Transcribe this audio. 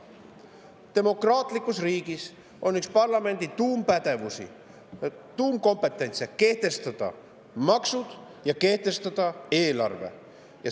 Demokraatlikus riigis on üks parlamendi tuumpädevusi, üks tuumkompetentse, kehtestada maksud ja kehtestada eelarve.